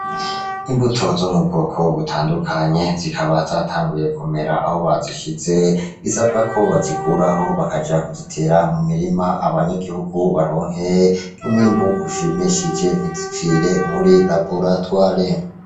Imbuto zo mu bwoko butandukanye zikaba zatanguye kumera aho bazishize bisabwa ko bazikuraho bakaja kuzitera mu mirima abanyagihugu baronke umwimbu ushimishije ntizipfire muri laboratoire.